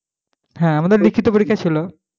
হ্যাঁ আমাদের লিখিত পরীক্ষা ছিল।